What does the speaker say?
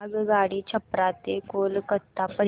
आगगाडी छपरा ते कोलकता पर्यंत